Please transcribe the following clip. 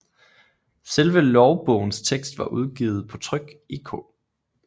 Selve lovbogens tekst var udgivet på tryk i K